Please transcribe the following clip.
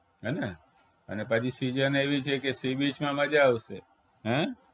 હે ને અને પાછી season એવી છે કે sea beach માં મજા આવશે હે